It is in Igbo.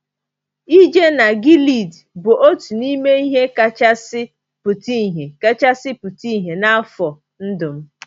Ije na Gilead bụ otu n’ime ihe kachasị pụta ihe kachasị pụta ìhè n’afọ ndụ m.